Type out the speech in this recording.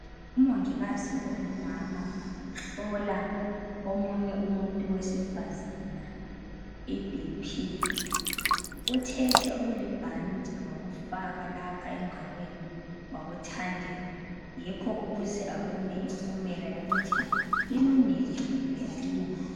Umongikazi ongumama uhlola omunye umuntu wesifazana iBP uthethe okulibhanti wakufaka lapha engalweni wakuthandela yikho ukuze abone impumela yokuthi ilungile kumbe ayilunganga.